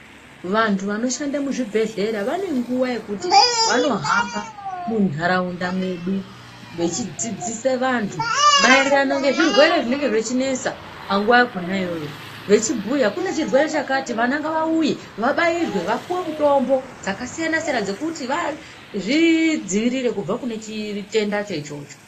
Vantu vanoshande muzvibhedhlera vanenguva yekuti vanohamba munharaunda mwedu vechidzidzise vantu maererano ngezvirwere zvinenge zvechinetsa panguva yakona iyoyo. Vechibhuya kune chirwere chakati, vana ngavauye vabairwe, vapuwe mutombo dzakasiyana-siyana dzekuti vazvidziirire kubva kune chitendacho ichocho.